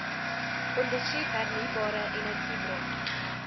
ondersoek hernieubare energiebronne